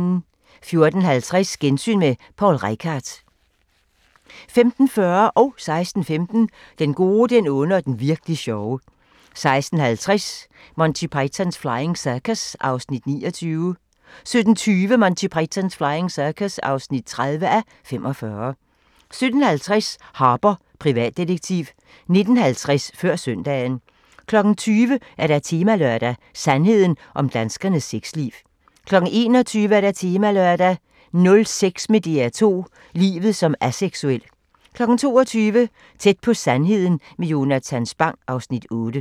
14:50: Gensyn med Poul Reichhardt 15:40: Den gode, den onde og den virk'li sjove 16:15: Den gode, den onde og den virk'li sjove 16:50: Monty Python's Flying Circus (29:45) 17:20: Monty Python's Flying Circus (30:45) 17:50: Harper, privatdetektiv 19:50: Før Søndagen 20:00: Temalørdag: Sandheden om danskernes sexliv 21:00: Temalørdag: Nul sex med DR2 – livet som aseksuel 22:00: Tæt på sandheden med Jonatan Spang (Afs. 8)